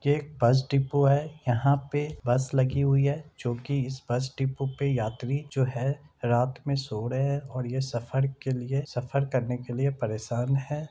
बस डिपो है यहाँ पे बस लगी हुई है जो की इस बस डिपो पे यात्री जो है रात में सो रहे है और ये सफर के लिए सफर करने के लिए परेशान है।